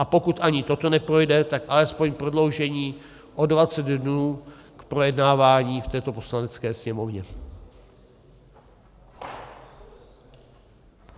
A pokud ani toto neprojde, tak alespoň prodloužení o 20 dnů k projednávání v této Poslanecké sněmovně.